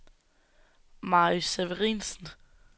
Mary Severinsen